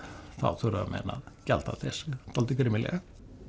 þá þurfa menn að gjalda þess dálítið grimmilega